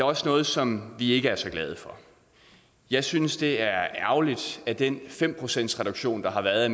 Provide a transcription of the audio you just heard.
også noget som vi ikke er så glade for jeg synes det er ærgerligt at den fem procentsreduktion der har været